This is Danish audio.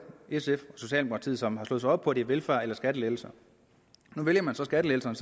sf og socialdemokratiet som har slået sig op på at det er velfærd eller skattelettelser nu vælger man så skattelettelserne